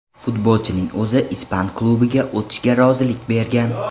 Futbolchining o‘zi ispan klubiga o‘tishga rozilik bergan.